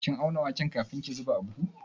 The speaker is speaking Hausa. Kin auna waken kafin ki zuba a buhu?